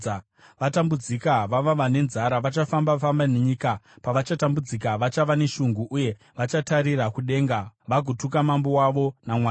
Vatambudzika, vava vane nzara vachafamba-famba nenyika; pavachatambudzika vachava neshungu, uye vachatarira kudenga, vagotuka mambo wavo naMwari wavo.